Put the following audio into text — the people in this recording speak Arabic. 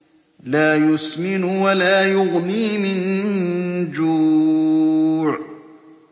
لَّا يُسْمِنُ وَلَا يُغْنِي مِن جُوعٍ